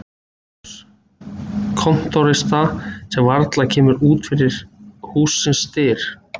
SOPHUS: Kontórista sem varla kemur út fyrir hússins dyr.